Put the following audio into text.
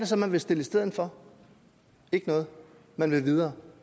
så man vil stille i stedet for ikke noget man vil videre